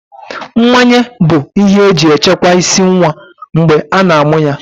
Mmanye bụ ihe eji echekwa ịsị nwa mgbe a na-amụ ya